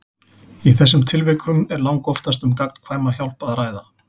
Í þessum tilvikum er langoftast um gagnkvæma hjálp að ræða.